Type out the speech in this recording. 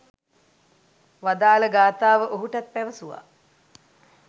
වදාළ ගාථාව ඔහුටත් පැවසුවා.